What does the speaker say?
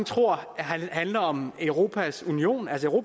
tror handler om europas union altså